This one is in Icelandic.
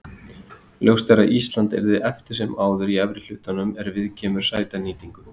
Ljóst er að Ísland yrði eftir sem áður í efri hlutanum er viðkemur sætanýtingu.